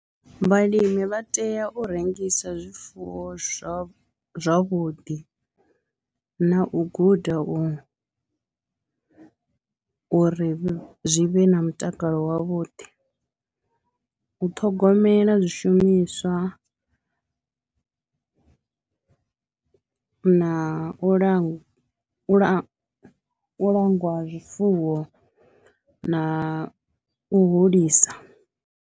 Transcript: Vhalimi vha tea u rengisa zwifuwo zwavho zwavhuḓi na u guda u uri zwi vhe na mutakalo wavhuḓi, u ṱhogomela zwishumiswa na u la u langwa ha zwifuwo na u hulisa.